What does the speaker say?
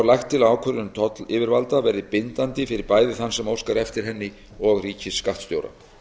lagt til að ákvörðun tollyfivalda verði bindandi fyrir bæði þann sem óskaði eftir henni og ríkisskattstjóra